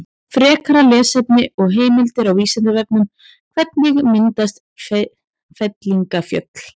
Frekara lesefni og heimildir á Vísindavefnum: Hvernig myndast fellingafjöll?